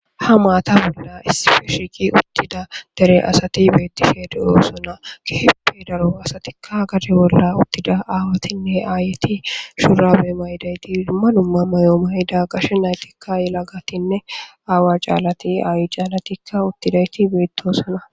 Hayssan maata bolla shiiqidi uttida asati beetishe de7oosona.keehippe daro asatikka gade bolla uttida aayeti shuraabekka mayidayti gashe naytikka yelagatinne aawa caalati aayi caalati uttidayti beettoosona.